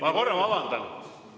Ma korra vabandan!